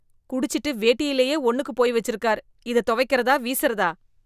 குடிச்சுட்டு வேட்டியிலயே ஒன்னுக்கு போய் வெச்சிருக்கார், இதை துவைக்கறதா, வீசறதா?